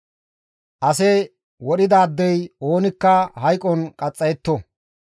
«Ase wodhidaadey oonikka hayqon qaxxayetto.